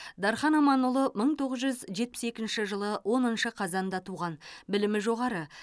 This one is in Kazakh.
дархан аманұлы бір мың тоғыз жүз жетпіс екінші жылы оныншы қазанда туған білімі жоғары